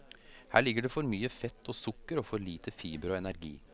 Her ligger det for mye fett og sukker og for lite fiber og energi.